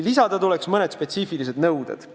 Lisada tuleks mõned spetsiifilised nõuded.